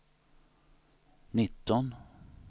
nitton